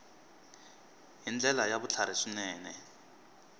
hi ndlela ya vutlhari swinene